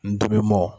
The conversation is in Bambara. N dimi mɔ